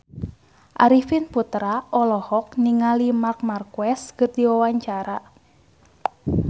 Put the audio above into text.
Arifin Putra olohok ningali Marc Marquez keur diwawancara